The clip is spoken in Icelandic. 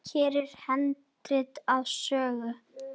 Hér er handrit að sögu.